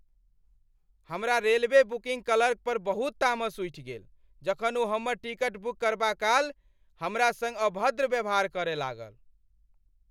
हमरा railway booking clerk पर बहुत तामस उठि गेल जखन ओ हमर टिकट बुक करबाकाल हमरा संग अभद्र व्यवहार करय लागल।